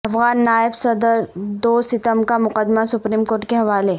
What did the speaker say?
افغان نائب صدر دوستم کا مقدمہ سپریم کورٹ کے حوالے